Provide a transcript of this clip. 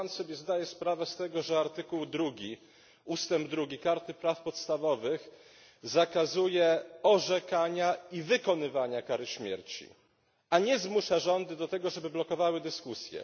Czy Pan sobie zdaje sprawę z tego, że artykuł 2 ustęp 2 Karty praw podstawowych zakazuje orzekania i wykonywania kary śmierci, a nie zmusza rządy do tego, żeby blokowały dyskusję.